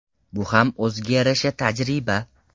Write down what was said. Bu ham o‘ziga yarasha tajriba.